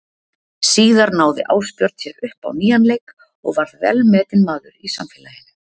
Síðar náði Ásbjörn sér upp á nýjan leik og varð velmetinn maður í samfélaginu.